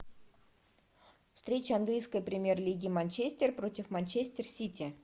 встреча английской премьер лиги манчестер против манчестер сити